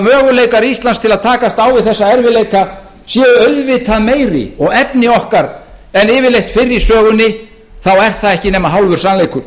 möguleikar íslands til að takast á við þessa erfiðleika séu auðvitað meiri og efni okkar en yfirleitt fyrr í sögunni er það ekki nema hálfur sannleikur